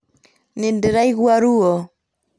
Nĩndĩraigua ruo